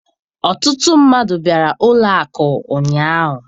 Ọtụtụ mmadụ bịara ụlọ akụ ụnyaahụ